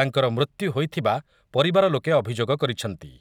ତାଙ୍କର ମୃତ୍ୟୁ ହୋଇଥିବା ପରିବାର ଲୋକେ ଅଭିଯୋଗ କରିଛନ୍ତି ।